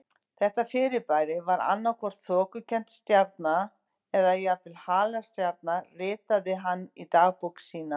Þetta fyrirbæri var annað hvort þokukennd stjarna eða jafnvel halastjarna ritaði hann í dagbók sína.